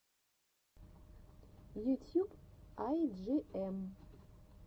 ютьюб ай джи эм